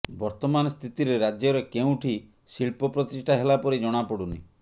ବର୍ତ୍ତମାନ ସ୍ଥିତିରେ ରାଜ୍ୟରେ କେଉଁଠି ଶିଳ୍ପ ପ୍ରତିଷ୍ଠା ହେଲା ପରି ଜଣାପଡ଼ୁନି